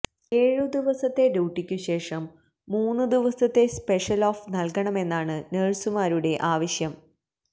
ഏഴുദിവസത്തെ ഡ്യൂട്ടിക്കുശേഷം മൂന്ന് ദിവസത്തെ സ്പെഷൽ ഓഫ് നൽകണമെന്നാണ് നഴ്സുമാരുടെ ആവശ്യം